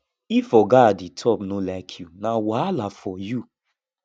if oga at di top no like you na wahala for you